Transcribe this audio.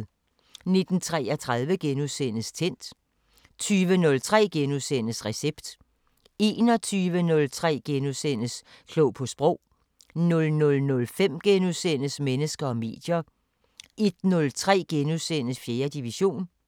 19:33: Tændt * 20:03: Recept * 21:03: Klog på Sprog * 00:05: Mennesker og medier * 01:03: 4. division *